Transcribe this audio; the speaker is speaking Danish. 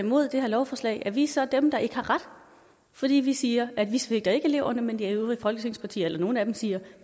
imod det her lovforslag er vi så dem der ikke har ret fordi vi siger at vi ikke svigter eleverne men de øvrige folketingspartier eller nogle af dem siger